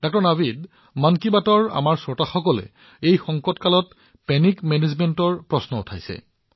ড০ নাভিদ মন কী বাতৰ আমাৰ শ্ৰোতাসকলে এই কঠিন সময়ত আতংক ব্যৱস্থাপনাৰ প্ৰশ্ন উত্থাপন কৰিছে